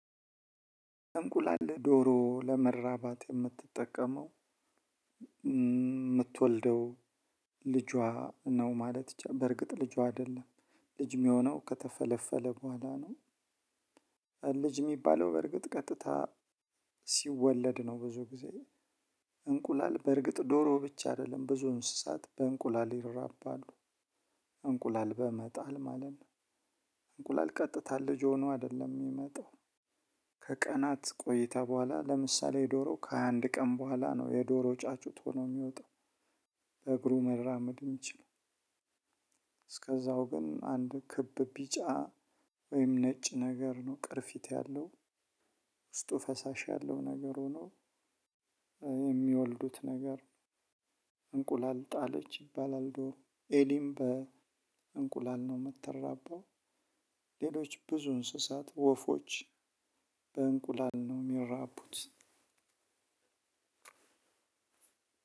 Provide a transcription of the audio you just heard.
እንቁላል ዶሮ ለመራባት የምትጠቀመው የምትወልደው ልጇ ነው ማለት በርግጥ ልጇ አይደለም ልጅ የሚሆነው ከተፈለፈለ በኋላ ነው። ልጅ የሚባለው በርግጥ ቀጥታ ሲወለድ ነው። ብዙ ጊዜ እንቁላል በእርግጥ ዶሮ ብቻ አይደለም ብዙ እንስሳት በእንቁላል ይረባሉ። እንቁላል በመጣል ማለት ነው። እንቁላል ቀጥታ ልጅ ሆኖ አይደለም የሚመጣው። ከቀናት ቆይታ በኋላ ለምሳሌ የዶሮ ከሃያ አንድ ቀን በኋላ ነው የዶሮ ጫጩት ሆኖ የሚወጣው። በእግሩ መራመድ የሚችለው። እስከዛው ግን አንድ ክብ ቢጫ ወይም ነጭ ነገር ነው ቅርፊት ያለው። ውስጡ ፈሳሽ ያለው ነገር ሆኖ የሚወልዱት ነገር እንቁላል ጣለች ይባላል ዶር ኤሊም በእንቁላል ነው የምትራባው። ሌሎች ብዙ እንስሳት ወፎች በእንቁላል ነው የሚራቡት።